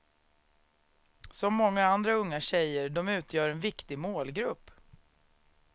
Som många andra unga tjejer, de utgör en viktig målgrupp.